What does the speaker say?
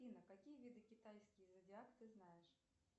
афина какие виды китайский зодиак ты знаешь